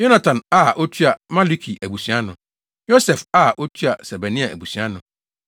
Yonatan a otua Maluki abusua ano. Yosef a otua Sebania abusua ano.